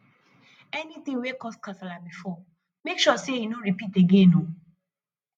anytin wey cause kasala bifor mek sure sey e no ripit again o